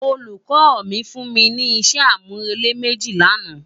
Ólúkò mi fún mi ni isé ámúrélé méji làná